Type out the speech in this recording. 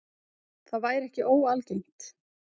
Það væri ekki óalgengt